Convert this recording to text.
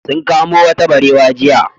Sun kamo wata barewa jiya.